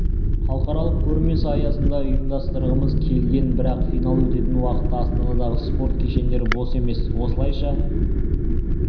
халықаралық көрмесі аясында ұйымдастырғымыз келген бірақ финал өтетін уақытта астанадағы спорт кешендері бос емес осылайша